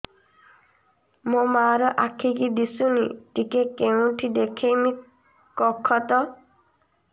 ମୋ ମା ର ଆଖି କି ଦିସୁନି ଟିକେ କେଉଁଠି ଦେଖେଇମି କଖତ